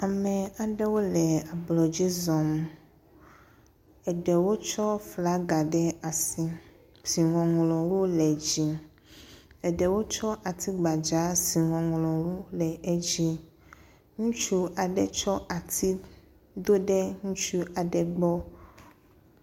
Ame aɖewo le ablɔ dzi zɔm. eɖewo tsɔ fla ɖe asi si ŋɔŋlɔwo le edzi. Eɖewo tsɔ atsi gbadza si ŋɔŋlɔwo le edzi. Ŋutsu aɖe tsɔ ati do ɖe ŋutsɔ aɖe gbɔ.